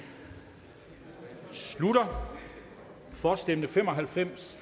slutter for stemte fem og halvfems